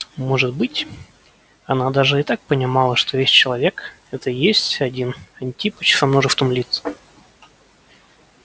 может быть она даже и так понимала что весь человек это и есть один антипыч со множеством лиц